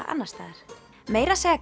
annars staðar meira að segja